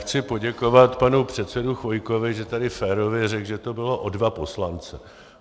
Chci poděkovat panu předsedovi Chvojkovi, že tady férově řekl, že to bylo o dva poslance.